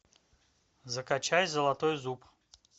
закачай золотой зуб